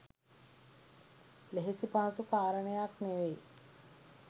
ලෙහෙසි පහසු කාරණයක් නෙවෙයි.